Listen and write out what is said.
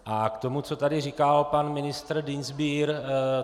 A k tomu, co tady říkal pan ministr Dienstbier.